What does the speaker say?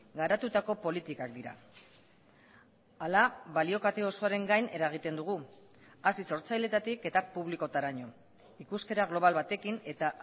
garatutako politikak dira hala balio kate osoaren gain eragiten dugu hasi sortzaileetatik eta publikotaraino ikuskera global batekin eta